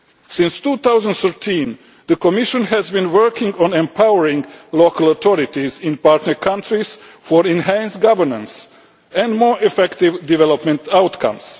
Since 2013, the Commission has been working on empowering local authorities in partner countries for enhanced governance and more effective development outcomes.